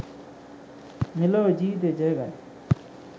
මෙලොව ජීවිතය ජය ගනී.